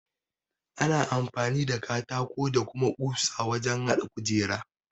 Ana amfani da katako da kuma ƙusa wajen haɗa kujeru.